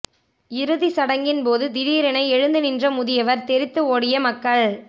இறுதி சடங்கின் போது திடீரென எழுந்து நின்ற முதியவர் தெறித்து ஓடிய மக்கள்